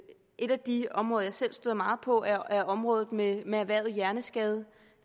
et af de områder jeg selv støder meget på er området med med erhvervet hjerneskade